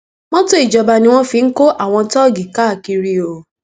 mọtò ìjọba ni wọn fi ń kọ àwọn tóógì káàkiri o